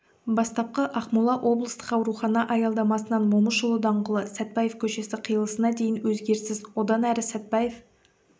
бастапқы ақмола облыстық аурухана аялдамасынан момышұлы даңғылы сәтпаев көшесі қиылысына дейін өзгеріссіз одан әрі сәтпаев